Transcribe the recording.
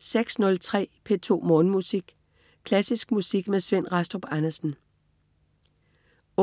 06.03 P2 Morgenmusik. Klassisk musik med Svend Rastrup Andersen 08.07